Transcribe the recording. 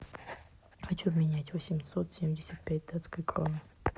хочу обменять восемьсот семьдесят пять датской кроны